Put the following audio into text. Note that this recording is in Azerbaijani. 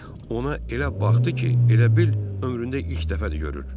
Ona elə baxdı ki, elə bil ömründə ilk dəfədir görür.